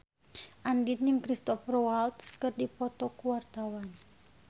Andien jeung Cristhoper Waltz keur dipoto ku wartawan